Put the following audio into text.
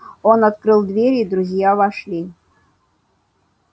он открыл дверь и друзья вошли